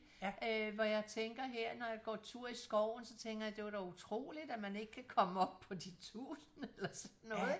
Øh hvor jeg tænker her når jeg går tur i skoven så tænker jeg det var dog utroligt at man ikke kan komme op på de tusinde eller sådan noget ikke